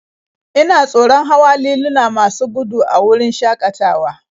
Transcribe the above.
Ina tsoron hawa liluna masu gudu a wurin shakatawa